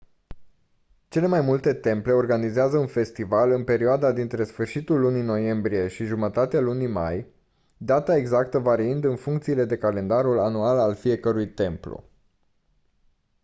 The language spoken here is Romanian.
cele mai multe temple organizează un festival în perioada dintre sfârșitul lunii noiembrie și jumătatea lunii mai data exactă variind în funcție de calendarul anual al fiecărui templu